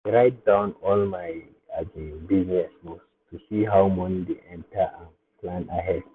i dey write down all my um business moves to see how money dey enter and plan ahead.